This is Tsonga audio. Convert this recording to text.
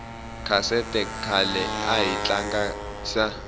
khasethe khale ahi tlangisa